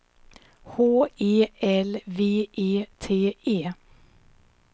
H E L V E T E